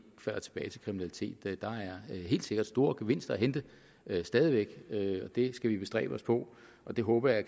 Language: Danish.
kriminalitet der er helt sikkert store gevinster at hente stadig væk og det skal vi bestræbe os på og det håber jeg